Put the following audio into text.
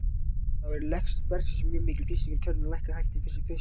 Þar er lekt bergsins mjög mikil, og þrýstingur í kerfinu lækkaði hægt í fyrstu.